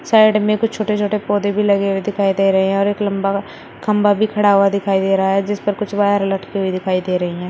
Side में कुछ छोटे छोटे पौधे भी लगे हुए दिखाई दे रहे हैं यार एक लंबा खंबा भी खड़ा हुआ दिखाई दे रहा है जिस पर कुछ वायर लटके हुए दिखाई दे रही हैं।